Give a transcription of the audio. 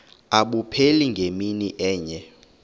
abupheli ngemini enye